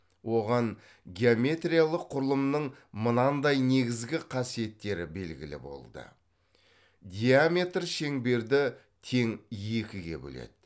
оған геометриялық құрылымның мынандай негізгі қасиеттері белгілі болды диаметр шеңберді тең екіге бөледі